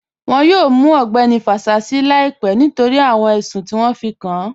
Wọ́n yọ̀ọ̀ mù Ọgbẹni Fásísì làìpẹ̀ nítorí awọn ẹṣùn ti wọn fí kàn án